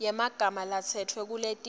yemagama latsetfwe kuletinye